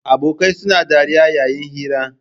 Abokai suna dariya yayi hira